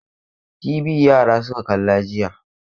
TV yara suka kalla jiya.